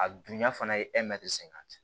A dunya fana ye sen kan